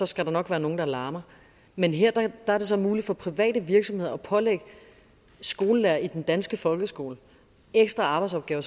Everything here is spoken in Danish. skal der nok være nogle der larmer men her er det så muligt for private virksomheder at pålægge skolelærere i den danske folkeskole ekstra arbejdsopgaver